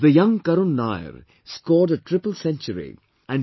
The young Karun Nair scored a triple century and K